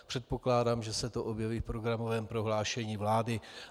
Předpokládám, že se to objeví v programovém prohlášení vlády.